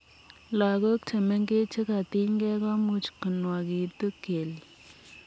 Lagok chemengech chekatinygei komuuch konwagitu kelyek.